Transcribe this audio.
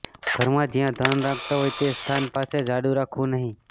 ઘરમાં જ્યાં ધન રાખતા હોય તે સ્થાન પાસે ઝાડૂ રાખવું નહીં